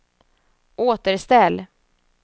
återställ